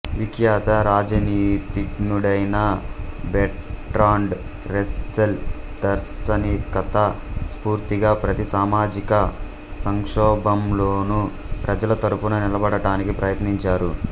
విఖ్యాత రాజనీతిజ్ఞుడైన Bertrand Russell దార్శనికత స్ఫూర్తిగా ప్రతి సామాజిక సంక్షోభంలోనూ ప్రజల తరఫున నిలబడటానికి ప్రయత్నించారు